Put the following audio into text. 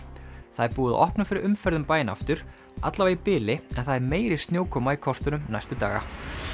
það er búið að opna fyrir umferð um bæinn aftur í bili en það er meiri snjókoma í kortunum næstu daga